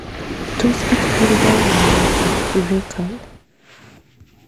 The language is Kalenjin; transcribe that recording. Tos kichikildo mulwetab Urachal?